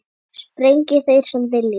Sprengi þeir sem vilja.